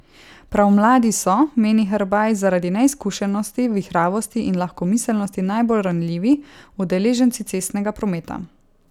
Prav mladi so, meni Herbaj, zaradi neizkušenosti, vihravosti in lahkomiselnosti najbolj ranljivi udeleženci cestnega prometa.